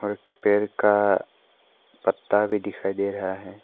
एक पेड़ का पत्ता भी दिखाई दे रहा है।